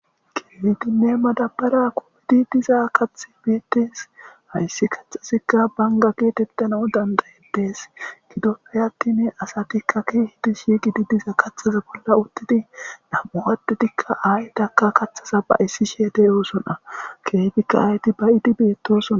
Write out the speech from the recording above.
keefidinne madabara kuudi diza kathi beettes hayssi kaxasikka banga keetettana u dandayedees gidoppe aktine asatikka kiehidi shiiqidi diza kaxaza bolla uttidi nam7uwadudikka aaydakka katthaza ba issi she deyoosona keytikka ayti bayidi beettosona